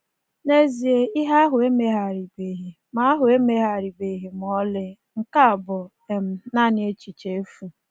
N'ezie, ìhè ahụ emegharịbeghị ma ahụ emegharịbeghị ma ọlị; Nke a bụ um naanị echiche efu.